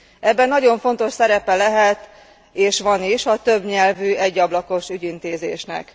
Ebben nagyon fontos szerepe lehet és van is a többnyelvű, egyablakos ügyintézésnek.